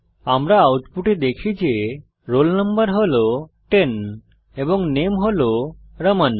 আমরা আউটপুটে দেখি যে roll number হল 10 এবং নামে হল রামান